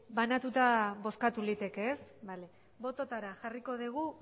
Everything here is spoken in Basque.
bai banatuta bozkatu liteke ez bale bototara jarriko dugu